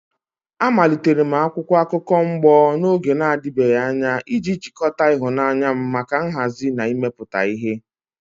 Amalitere m akwụkwọ akụkọ mgbo n'oge na-adịbeghị anya iji jikọta ịhụnanya m maka nhazi na imepụta ihe.